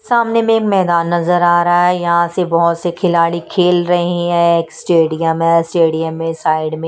सामने में मैदान नजर आ रहा है यहां से बहोत से खिलाड़ी खेल रहे है एक स्टेडियम है स्टेडियम में साइड में--